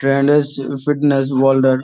fitness world - এর--